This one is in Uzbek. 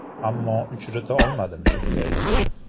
Ammo uchrata olmadim shundayini.